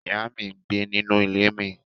Iya mi ngbe ninu ile mi